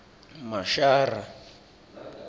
mashara